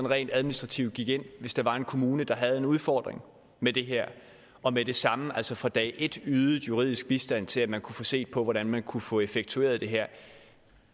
rent administrativt gik ind hvis der var en kommune der havde en udfordring med det her og med det samme altså fra dag et ydede juridisk bistand til at man kunne få set på hvordan man kunne få effektueret det her